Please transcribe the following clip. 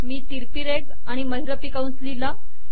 मी तिरकी रेघ व महिरपी कंस लिहिला